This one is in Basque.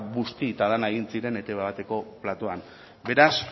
busti eta dena egin ziren etb bateko platoan beraz